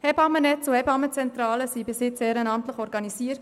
Hebammennetz und Hebammenzentrale wurden bisher ehrenamtlich organisiert.